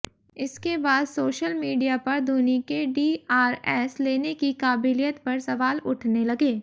इसके बाद social media पर धोनी के डीआरएस लेने की काबिलियत पर सवाल उठने लगे